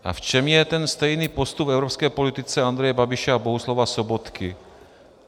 A v čem je ten stejný postup v evropské politice Andreje Babiše a Bohuslava Sobotky?